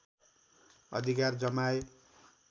अधिकार जमाए